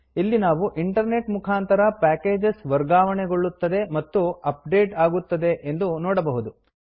ಇಲ್ಲಿ ನಾವು ಇಂಟರ್ನೆಟ್ ಮುಖಾಂತರ ಪ್ಯಾಕೇಜಸ್ ವರ್ಗಾವಣೆಗೊಳ್ಳುತ್ತದೆ ಮತ್ತು ಅಪ್ಡೇಟ್ ಆಗುತ್ತದೆ ಎಂದು ನೋಡಬಹುದು